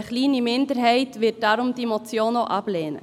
Eine kleine Minderheit wird deshalb diese Motion auch ablehnen.